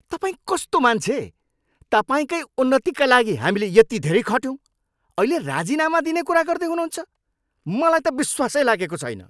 तपाईँ कस्तो मान्छे? तपाईँकै उन्नतिका लागि हामीले यति धेरै खट्यौँ, अहिले राजिनामा दिने कुरा गर्दै हुनुहुन्छ? मलाई त विश्वासै लागेको छैन।